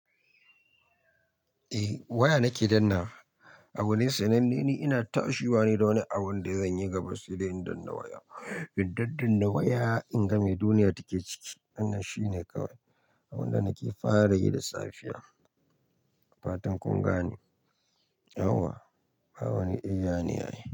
Eh waya nake danna. Abu ne sananne ni ina tashi bane da wani abun da zan yi gabas idan in dannawa waya. Indadda in na waya in ga me duniya take ciki. Wannan shine kawai abin da nake fara yi da safiya. Fatan kun gane. Yauwa, ba wani eyyane ai.